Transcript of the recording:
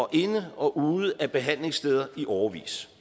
inde og ude af behandlingssteder i årevis